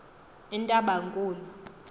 entabankulu